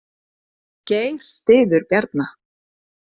Geir styður Bjarna